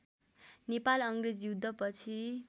नेपाल अङ्ग्रेज युद्धपछि